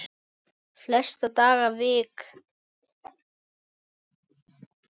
Flesta daga vik